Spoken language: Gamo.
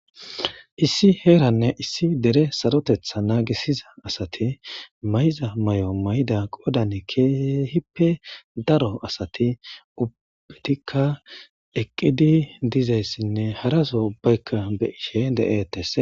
Issi heeranne issi dere sarotetha naagisida asati mayiza mayo mayida qoodan keehipe daro asati ubatika eqidi dizaysane hara asay ubayka be'ashe deethes.